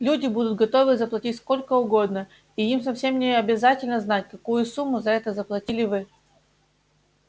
люди будут готовы заплатить сколько угодно и им совсем не обязательно знать какую сумму за это заплатили вы